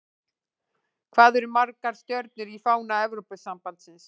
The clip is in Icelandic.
Hvað eru margar stjörnur í fána Evrópusambandsins?